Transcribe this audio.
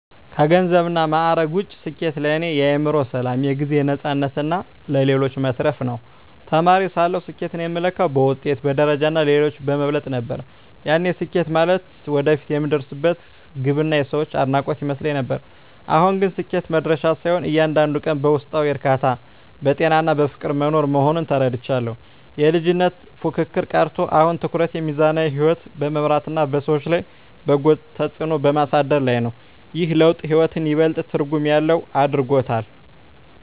ከገንዘብና ማዕረግ ውጭ፣ ስኬት ለእኔ የአእምሮ ሰላም፣ የጊዜ ነፃነትና ለሌሎች መትረፍ ነው። ተማሪ ሳለሁ ስኬትን የምለካው በውጤት፣ በደረጃና ሌሎችን በመብለጥ ነበር፤ ያኔ ስኬት ማለት ወደፊት የምደርስበት ግብና የሰዎች አድናቆት ይመስለኝ ነበር። አሁን ግን ስኬት መድረሻ ሳይሆን፣ እያንዳንዱን ቀን በውስጣዊ እርካታ፣ በጤናና በፍቅር መኖር መሆኑን ተረድቻለሁ። የልጅነት ፉክክር ቀርቶ፣ አሁን ትኩረቴ ሚዛናዊ ሕይወት በመምራትና በሰዎች ላይ በጎ ተጽዕኖ በማሳደር ላይ ነው። ይህ ለውጥ ሕይወትን ይበልጥ ትርጉም ያለው አድርጎታል።